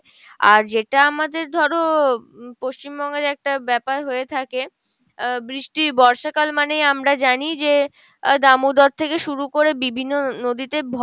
আর যেটা আমাদের ধরো পশ্চিমবঙ্গের একটা ব্যাপার হয়ে থাকে আহ বৃষ্টি বর্ষাকাল মানেই আমরা জানি যে আহ দামোদর থেকে শুরু করে বিভিন্ন নদীতে